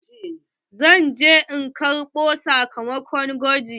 Zan ze in karɓo sakamako na gwaji.